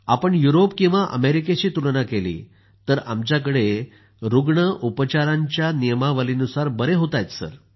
आपण युरोप किंवा अमेरिकेशी तुलना केली तर आमच्याकड़े रूग्ण उपचारांच्या नियमावलीनुसार बरे होत आहेत सर